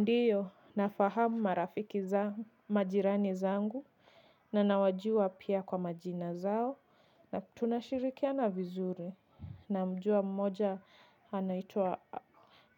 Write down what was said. Ndio nafahamu marafiki za majirani zangu na nawajua pia kwa majina zao na tunashirikiana vizuri namjua mmoja anaitwa